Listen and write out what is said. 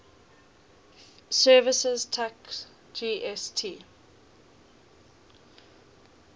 services tax gst